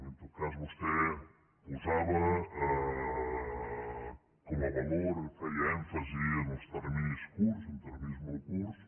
en tot cas vostè posava com a valor feia èmfasi en els terminis curts en terminis molt curts